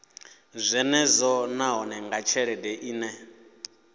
zwenezwo nahone nga tshelede ine